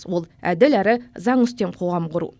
ол әділ әрі заңы үстем қоғам құру